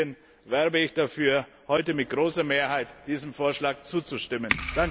Deswegen werbe ich dafür, heute mit großer Mehrheit diesem Vorschlag zuzustimmen.